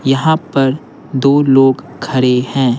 यहां पर दो लोग खड़े हैं।